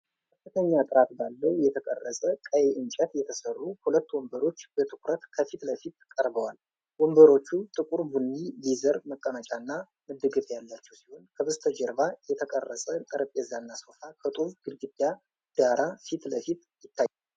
ከፍተኛ ጥራት ባለው የተቀረጸ ቀይ እንጨት የተሰሩ ሁለት ወንበሮች በትኩረት ከፊት ለፊት ቀርበዋል። ወንበሮቹ ጥቁር ቡኒ ሌዘር መቀመጫና መደገፊያ ያላቸው ሲሆን፣ ከበስተጀርባ የተቀረጸ ጠረጴዛና ሶፋ ከጡብ ግድግዳ ዳራ ፊት ለፊት ይታያሉ።